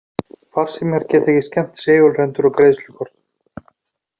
Farsímar geta ekki skemmt segulrendur á greiðslukortum.